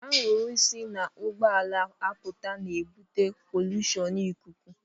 Anwụrụ si n'ụgbọala apụta na-ebute polushon ikuku